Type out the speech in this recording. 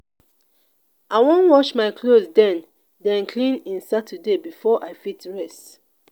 i wan wash my clothes den den clean in saturday before i fit rest.